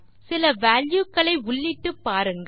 சில வால்யூ களை உள்ளிட்டு பாருங்கள்